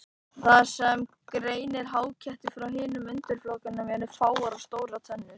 Það sem greinir háketti frá hinum undirflokkunum eru fáar og stórar tennur.